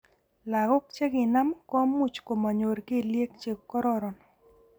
Lagok chekinam ko much manyor kelyek che kororon.